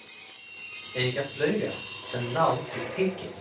Eiga flaugar sem ná til Peking